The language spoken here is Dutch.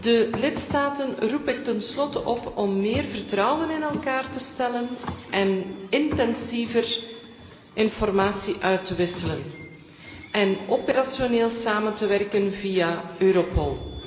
De lidstaten roep ik ten slotte op om meer vertrouwen in elkaar te stellen en intensiever informatie uit te wisselen en operationeel samen te werken via Europol.